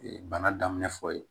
Bana daminɛ fɔ ye